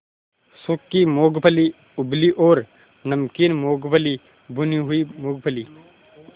सूखी मूँगफली उबली और नमकीन मूँगफली भुनी हुई मूँगफली